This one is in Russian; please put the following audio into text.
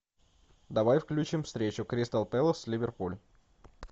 давай включим встречу кристал пэлас ливерпуль